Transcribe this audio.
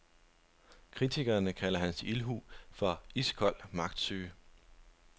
Kritikerne kalder hans ildhu for iskold magtsyge.